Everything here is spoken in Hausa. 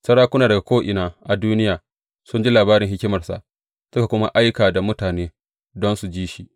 Sarakuna daga ko’ina a duniya, sun ji labarin hikimarsa, suka kuma aika da mutane don su ji shi.